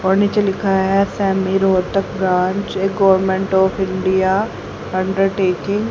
और नीचे लिखा है Rohtak branch a government of India undertaking --